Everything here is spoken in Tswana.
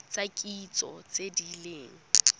tsa kitso tse di leng